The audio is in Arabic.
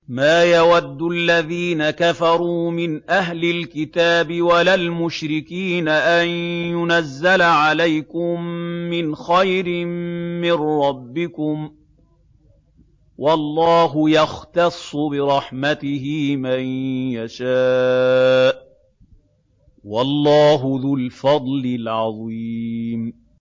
مَّا يَوَدُّ الَّذِينَ كَفَرُوا مِنْ أَهْلِ الْكِتَابِ وَلَا الْمُشْرِكِينَ أَن يُنَزَّلَ عَلَيْكُم مِّنْ خَيْرٍ مِّن رَّبِّكُمْ ۗ وَاللَّهُ يَخْتَصُّ بِرَحْمَتِهِ مَن يَشَاءُ ۚ وَاللَّهُ ذُو الْفَضْلِ الْعَظِيمِ